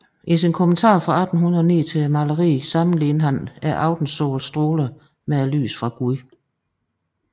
I sin kommentar fra 1809 til maleriet sammenlignede han aftensolens stråler med lyset fra Gud